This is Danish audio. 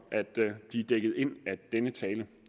at de er dækket ind af denne tale